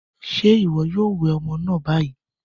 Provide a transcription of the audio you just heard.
Ṣé iwọ yòò wẹ ọmọ náà ni bayí?